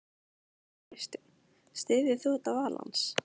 Kristján: Styður þú þetta val hans?